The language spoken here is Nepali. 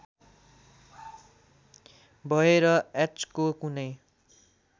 भएर एचको कुनै